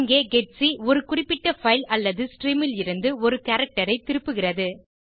இங்கே ஜிஇடிசி ஒரு குறிப்பிட்ட பைல் அல்லது ஸ்ட்ரீம் லிருந்து ஒரு கேரக்டர் ஐ திருப்புகிறது